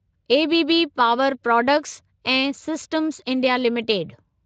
ABB power products and systems India limited